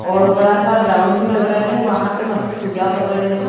और बड़ा सा ग्राउंड भी लग रहा हैं वहां पर मस्त पूजा कर रहे हैं।